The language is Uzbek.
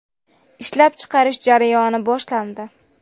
Ishlab chiqarish jarayoni boshlandi.